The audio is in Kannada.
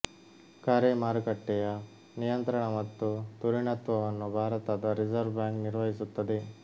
ಕರೆ ಮಾರುಕಟ್ಟೆಯ ನಿಯಂತ್ರಣ ಮತ್ತು ಧುರೀಣತ್ವವನ್ನು ಭಾರತದ ರಿಸರ್ವ್ ಬ್ಯಾಂಕ್ ನಿರ್ವಹಿಸುತ್ತದೆ